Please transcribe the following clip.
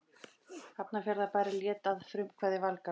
Hafnarfjarðarbær lét að frumkvæði Valgarðs